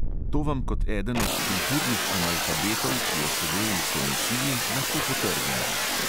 To vam kot eden od "kulturnih analfabetov", ki je sedel v komisiji, lahko potrdim!